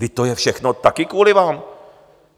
Vždyť to je všechno také kvůli vám.